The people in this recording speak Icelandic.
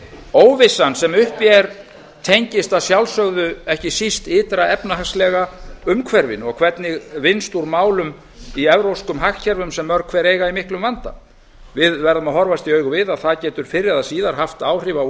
óvissan sem uppi er tengist að sjálfsögðu ekki síst ytra efnahagslega umhverfinu og hvernig vinnst úr málum í evrópskum hagkerfum sem mörg hver eiga í miklum vanda við verðum að horfast í augu við að það getur fyrr eða síðar haft áhrif á